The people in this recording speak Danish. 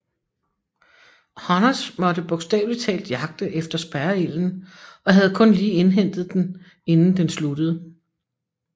Honners måtte bogstavelig talt jagte efter spærreilden og havde kun lige indhentet den inden den sluttede